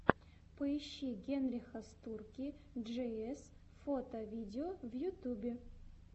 поищи генриха стурки джиэс фото видео в ютьюбе